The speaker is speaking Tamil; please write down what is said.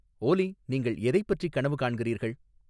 ஓலி நீங்கள் எதைப் பற்றி கனவு காண்கிறீர்கள்